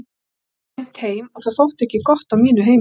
Ég kom ansi seint heim og það þótti ekki gott á mínu heimili.